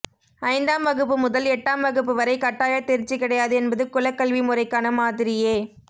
ஐந்தாம் வகுப்பு முதல் எட்டாம் வகுப்பு வரை கட்டாயத் தேர்ச்சி கிடையாது என்பது குலக் கல்வி முறைக்கான மாதிரியே